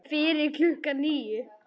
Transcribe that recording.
Fyrir klukkan níu.